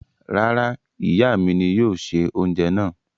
Rárá, ìyà mi ní yóò ṣẹ̀ ọunjẹ náà.